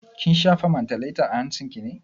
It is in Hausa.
Kin shafa mantaleta a hancin ki ne?